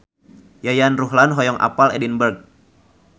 Yayan Ruhlan hoyong apal Edinburg